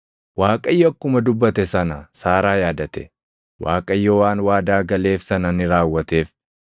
Waaqayyo akkuma dubbate sana Saaraa yaadate; Waaqayyo waan waadaa galeef sana ni raawwateef.